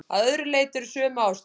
Að öðru leyti eru sömu aðstæður.